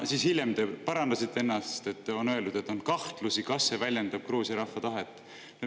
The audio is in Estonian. Siis hiljem te parandasite ennast, et on öeldud, et on kahtlusi, kas see väljendab Gruusia rahva tahet.